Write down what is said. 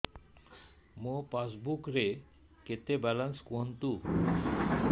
ମୋ ପାସବୁକ୍ ରେ କେତେ ବାଲାନ୍ସ କୁହନ୍ତୁ